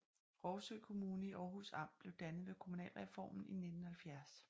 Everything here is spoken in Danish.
Rougsø Kommune i Århus Amt blev dannet ved kommunalreformen i 1970